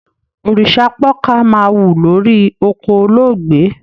Òrìṣápọkà máa wù lórí oko olóògbé.